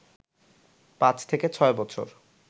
৫ থেকে ৬ বছর